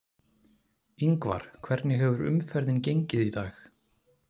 Ingvar, hvernig hefur umferðin gengið í dag?